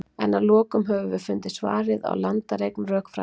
En að lokum höfum við fundið svarið á landareign rökfræðinnar.